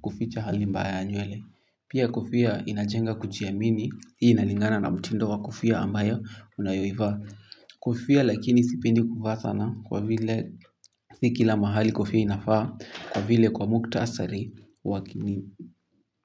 kuficha hali mbaya nywele. Pia kofia inajenga kujiamini, hii inalingana na mtindo wa kofia ambayo unayoivaa. Kofia lakini sipendi kuvaa sana. Kwa vile si kila mahali kofia inafaa. Kwa vile kwa mukhtasari wa.